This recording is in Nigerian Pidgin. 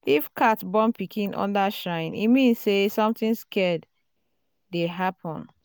if cat born pikin under shrine e mean say something sacred dey happen.